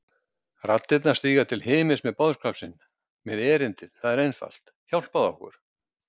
Raddirnar stíga til himins með boðskap sinn, með erindið og það er einfalt: hjálpaðu okkur!